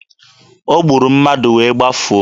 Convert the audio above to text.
O gburu mmadụ wee gbafuo.